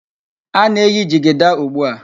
A na-eyi jigida ugbu a.